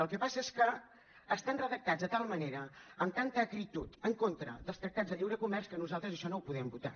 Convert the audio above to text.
el que passa és que estan redactats de tal manera amb tanta acritud en contra dels tractats de lliure comerç que nosaltres això no ho podem votar